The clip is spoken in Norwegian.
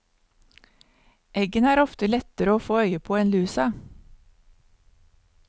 Eggene er oftere lettere å få øye på en lusa.